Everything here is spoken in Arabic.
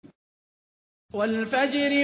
وَالْفَجْرِ